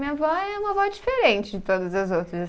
Minha avó é uma avó diferente de todas as outras.